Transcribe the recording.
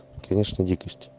конечно дикость